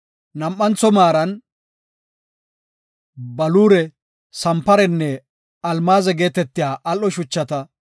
nam7antho maaran baluure, sanparenne almaaze geetetiya al7o shuchata;